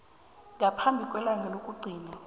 ngaphambi kwelanga lokugcina